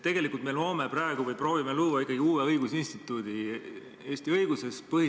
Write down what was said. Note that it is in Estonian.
Tegelikult me loome praegu või proovime luua ikkagi uue õigusinstituudi Eesti õiguses.